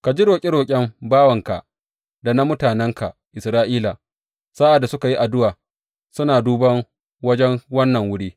Ka ji roƙe roƙen bawanka da na mutanenka Isra’ila sa’ad da suka yi addu’a suna duban wajen wannan wuri.